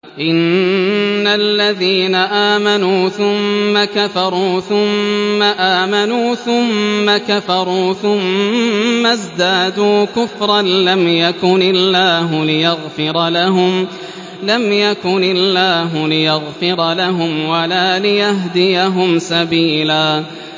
إِنَّ الَّذِينَ آمَنُوا ثُمَّ كَفَرُوا ثُمَّ آمَنُوا ثُمَّ كَفَرُوا ثُمَّ ازْدَادُوا كُفْرًا لَّمْ يَكُنِ اللَّهُ لِيَغْفِرَ لَهُمْ وَلَا لِيَهْدِيَهُمْ سَبِيلًا